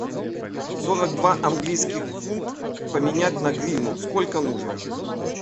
сорок два английских фунт поменять на гривну сколько нужно